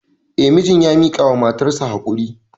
Eh, mijin ya miƙawa matarsa haƙuri.